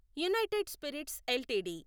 United Spirits LTD